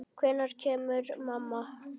Hvenær kemur mamma?